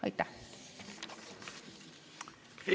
Aitäh!